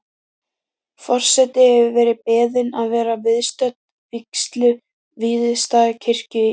Forseti hefur verið beðin að vera viðstödd vígslu Víðistaðakirkju í